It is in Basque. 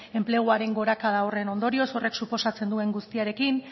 enpleguaren gorakada horren ondorioz horrek suposatzen duen guztiarekin